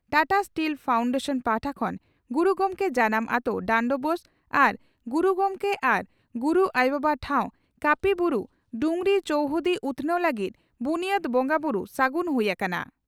Tata steel foundation ᱯᱟᱦᱴᱟ ᱠᱷᱚᱱ ᱜᱩᱨᱩ ᱜᱚᱢᱠᱮ ᱡᱟᱱᱟᱢ ᱟᱹᱛᱳ ᱰᱟᱱᱰᱵᱳᱥ ᱟᱨ ᱜᱩᱨᱩ ᱜᱚᱢᱠᱮ ᱟᱨ ᱜᱩᱨᱩ ᱟᱭᱚ ᱵᱟᱭ ᱴᱷᱟᱶ ᱠᱟᱹᱯᱤ ᱵᱩᱨᱩ (ᱰᱸᱩᱜᱽᱨᱤ) ᱪᱚᱣᱦᱩᱫᱤ ᱩᱛᱷᱱᱟᱹᱣ ᱞᱟᱹᱜᱤᱫ ᱵᱩᱱᱭᱟᱹᱫᱽ ᱵᱚᱸᱜᱟ ᱵᱩᱨᱩ ᱥᱟᱹᱜᱩᱱ ᱦᱩᱭ ᱟᱠᱟᱱᱟ ᱾